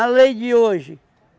lei de hoje.